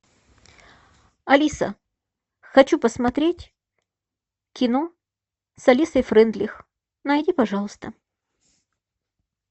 алиса хочу посмотреть кино с алисой фрейндлих найди пожалуйста